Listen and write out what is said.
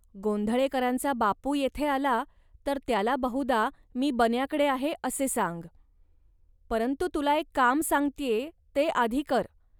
गोंधळेकरांचा बापू येथे आला, तर त्याला बहुधा मी बन्याकडे आहे, असे सांग. परंतु तुला एक काम सांगत्ये, ते आधी कर